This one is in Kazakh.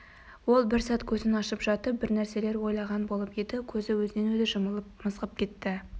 ол бір сәт көзін ашып жатып бір нәрселер ойлаған болып еді көзі өзінен-өзі жұмылып мызғып кетті